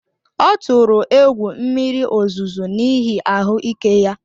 Ọ tụrụ egwu mmiri ozuzo n’ihi ahụ́ ike ya